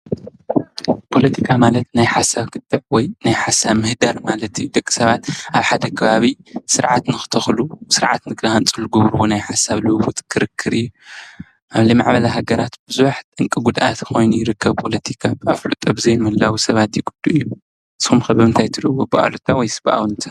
ፖለቲካ ማለት ናይ ሓሳብ ክትዕ ወይ ናይ ሓሳብ ምህዳር ማለት እዩ ፤ደቂ ሰባት ኣብ ሓደ ከባቢ ስርዓት ንክተክሉ ስርዓት ንክሃንፁ ዝገብርዎ ናይ ሓሳብ ልዉዉጥ ክርክር እዩ። ኣብ ዘይማዕበላ ሃገራት ብዙሕ ጠንቂ ጉድኣት ኮይኑ ይርከብ። ፖለቲካ ኣፍልጦ ብዘይ ምህላዉ ሰባት ይጉድኡ። ንስኩም ከ ብምንታይ ትሪእዎ ብኣወንታ ወይ በኣሉታ?